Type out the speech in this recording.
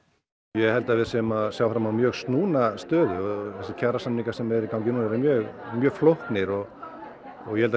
ég held að við séum að sjá fram á mjög snúna stöðu þessir kjarasamningar sem eru í gangi núna eru mjög mjög flóknir og ég held að